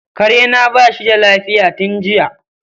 karena bashi da lafiya tun jiya.